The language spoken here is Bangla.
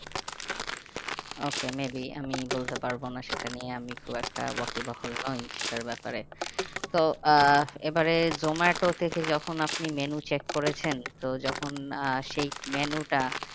Okay maybe আমি বলতে পারবো না সেটা নিয়ে আমি খুব একটা এখনো নই সেটার ব্যাপারে। তো আহ এবারে জোমাটো থেকে যখন আপনি menu check করেছেন তো যখন আহ সেই menu টা